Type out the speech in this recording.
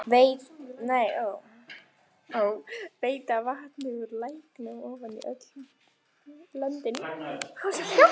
Veita vatni úr læknum ofan í öll löndin.